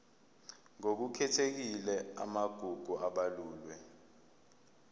ngokukhethekile amagugu abalulwe